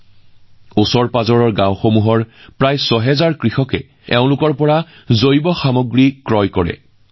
আজি ওচৰৰ গাঁৱৰ ৬ হাজাৰৰো অধিক কৃষকে তেওঁলোকৰ পৰা জৈৱ সামগ্ৰী ক্ৰয় কৰিছে